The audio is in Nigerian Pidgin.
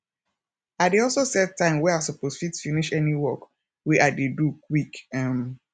i dey also set time wey i soppose fit finish any work wey i dey do quick um